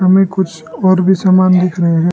हमें कुछ और भी समान दिख रहे हैं।